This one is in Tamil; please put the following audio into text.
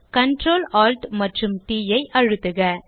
கன்ட்ரோல் Alt மற்றும் ட் ஐ அழுத்துக